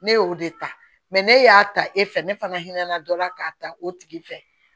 Ne y'o de ta ne y'a ta e fɛ ne fana hinɛ na dɔ la k'a ta o tigi fɛ